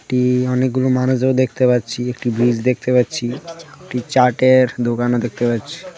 একটি অনেকগুলো মানুষও দেখতে পাচ্ছি একটি ব্রিজ দেখতে পাচ্ছি একটি চাটের দোকানও দেখতে পাচ্ছি .